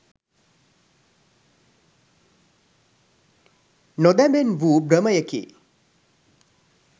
නොදැමෙන් වූ භ්‍රමයකි.